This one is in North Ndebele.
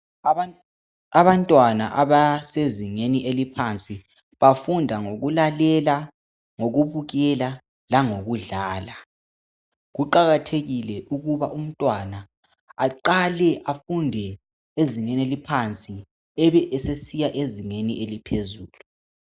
Abantwana abasezingeni eliphansi bafunda ngokulalela , ngokubukela langokudlala, kuqakathekile ukuba umntwana aqale afunde ezingeni eliphansi ebe sesiya ezingeni eliphezulu.